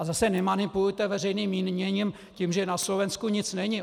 A zase nemanipulujte veřejným míněním, tím, že na Slovensku nic není.